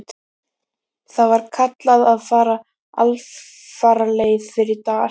Þar var kallað að fara alfaraleið fyrir dal.